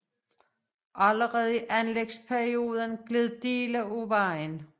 Allerede i anlægsperioden gled dele af vejen